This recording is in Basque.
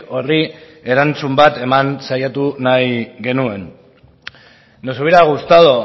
horri erantzun bat ematen saiatu nahi genuen nos hubiera gustado